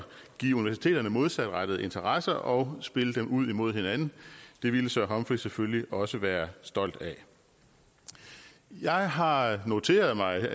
give universiteterne modsatrettede interesser og spille dem ud imod hinanden det ville sir humphrey selvfølgelig også være stolt af jeg har noteret mig